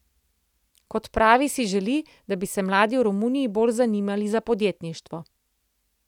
Kot pravi, si želi, da bi se mladi v Romuniji bolj zanimali za podjetništvo.